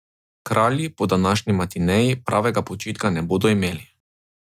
Kralji po današnji matineji pravega počitka ne bodo imeli.